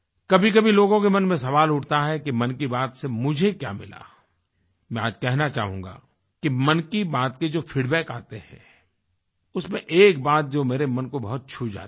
कभीकभी लोगों के मन में सवाल उठता है कि मन की बात से मुझे क्या मिला मैं आज कहना चाहूँगा कि मन की बात के जो फीडबैक आते हैं उसमें एक बात जो मेरे मन को बहुत छू जाती है